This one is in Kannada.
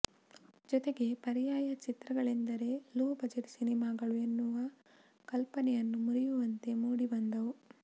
ಜೊತೆಗೆ ಪರ್ಯಾಯ ಚಿತ್ರಗಳೆಂದರೆ ಲೋ ಬಜೆಟ್ ಸಿನಿಮಾಗಳು ಎನ್ನುವ ಕಲ್ಪನೆಯನ್ನು ಮುರಿಯುವಂತೆ ಮೂಡಿ ಬಂದವು